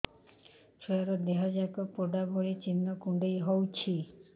ଛୁଆର ଦିହ ଯାକ ପୋଡା ଭଳି ଚି଼ହ୍ନ କୁଣ୍ଡେଇ ହଉଛି